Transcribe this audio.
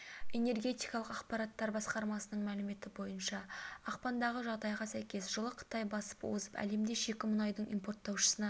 энергетикалық ақпараттар басқармасының мәліметі бойынша ақпандағы жағдайға сәйкес жылы қытай басып озып әлемде шикі мұнайдың импорттаушысына